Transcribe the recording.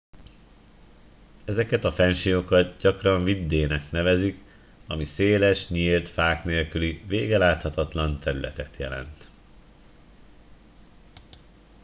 "ezeket a fennsíkokat gyakran "vidde" -nek nevezik ami széles nyílt fák nélküli végeláthatatlan területet jelent.